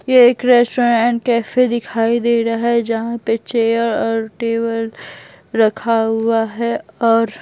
यह एक restaurant and cafe दिखाई दे रहा है जहां पे चेयर और टेबल रखा हुआ है और--